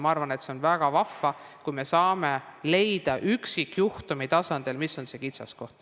Ma arvan, et see on väga vahva, kui me saame üksikjuhtumi tasandil leida, mis on see kitsaskoht.